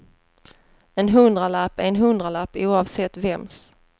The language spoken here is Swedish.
En hundralapp är en hundralapp, oavsett vems.